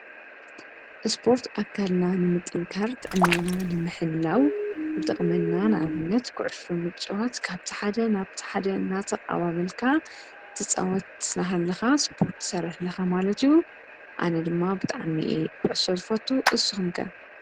እስፖርት ኣካልና ንምጥንኻር ብጥዕና ንምሕላውን ይጠቅመና። ንኣብነት ኩዑሶ ምፅዋት ካብት ሓደ ናብት ሓደ እናተቃባበልካ ትፃወት አዳሃለካ አስፖረት ትስርሕ ኣለኻ ማለት አዩ፡፡ ኣነ ዲማ ብጣዕሚ አየ ኩዑሶ ዝፈቱ ኒስኩሞ ከ?